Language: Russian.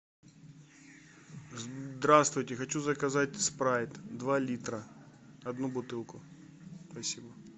здравствуйте хочу заказать спрайт два литра одну бутылку спасибо